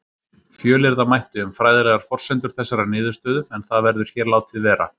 Fjölyrða mætti um fræðilegar forsendur þessarar niðurstöðu en það verður hér látið vera.